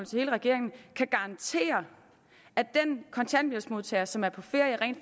til hele regeringen kan garantere at den kontanthjælpsmodtager som er på ferie rent